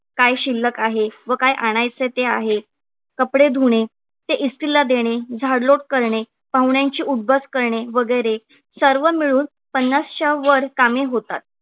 काय शिल्लक आहे व काय आणायचे आहे. कपडे धुणे ते इस्त्रीला देणे, झाडलोट करणे, पाहुण्यांची उठ बस करणे वगैरे. सर्व मिळून पन्नासच्या वर कमी होतात